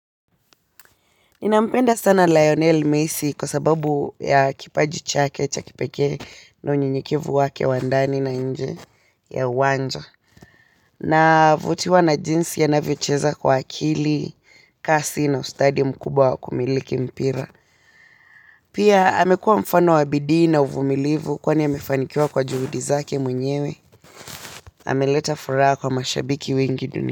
Ninampenda sana Lionel Messi kwa sababu ya kipaji chake cha kipekee na unyenyekevu wake wa ndani na nje ya uwanja. Na vutiwa na jinsi ya navyocheza kwa akili, kasi na ustadi mkubwa wa kumiliki mpira. Pia amekuwa mfano wa bidii na uvumilivu kwani amefanikiwa kwa juhudi zake mwenyewe. Ameleta furaha kwa mashabiki wengi dunia.